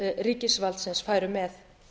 ríkisvaldsins færu með